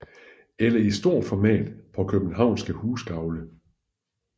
Eller i stort format på københavnske husgavle